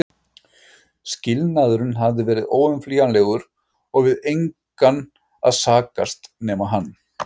Skilnaðurinn hafði verið óumflýjanlegur og við engan að sakast nema hann.